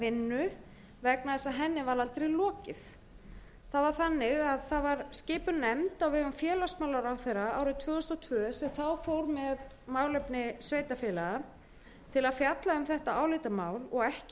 vinnu vegna þess að henni var aldrei lokið það var þannig að það var skipuð nefnd á vegum félagsmálaráðherra árið tvö þúsund og tvö sem þá fór með málefni sveitarfélaga til að fjalla um þetta álitamál og ekki